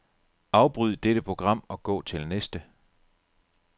Afbryd dette program og gå til næste.